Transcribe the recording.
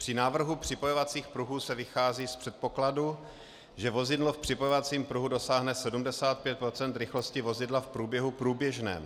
Při návrhu připojovacích pruhů se vychází z předpokladu, že vozidlo v připojovacím pruhu dosáhne 75 % rychlosti vozidla v průběhu průběžném.